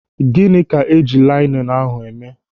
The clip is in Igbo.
Gịnị ka eji linenu ahụ eme?